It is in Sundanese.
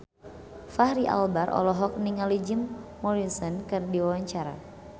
Fachri Albar olohok ningali Jim Morrison keur diwawancara